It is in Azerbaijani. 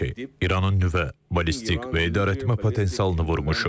İranın nüvə, ballistik və idarəetmə potensialını vurmuşuq.